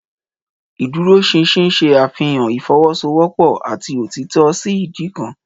Ìdúróṣinṣin ṣe àfihàn ìfọwọ́sowọ́pọ̀ àti òtítọ́ sí ìdí kan.